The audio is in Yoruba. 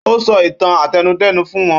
Ó sọ ìtàn àtẹnudẹ́nu fún wọn